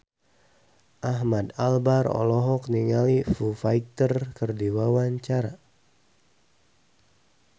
Ahmad Albar olohok ningali Foo Fighter keur diwawancara